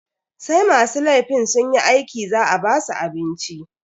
Sai masu laifin sunyi aiki za a basu abinci.